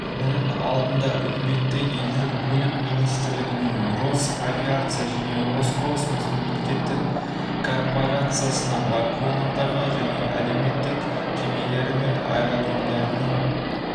мұның алдында үкіметі елдің көлік министрлігіне росавиация және роскосмос мемлекеттік корпрациясына байқоңырдағы әуе кемелері мен аэродромдардың